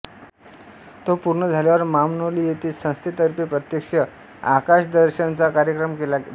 तो पूर्ण झाल्यावर मामनोली येथे संस्थेतर्फे प्रत्यक्ष आकाशदर्शनाचा कार्यक्रम केला जातो